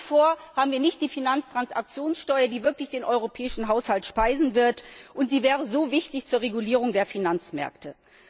Nach wie vor gibt es keine Finanztransaktionssteuer, die wirklich den europäischen Haushalt speisen wird, und die wäre so wichtig zur Regulierung der Finanzmärkte.